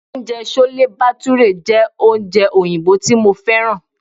Oúnjẹ chole bhature jẹ́ oúnjẹ oyinbo tí mo fẹ́ràn.